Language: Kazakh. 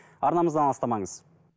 арнамыздан алыстамаңыз